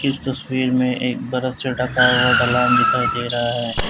इस तस्वीर में एक बरफ से ढका हुआ ढलान दिखाई दे रहा है।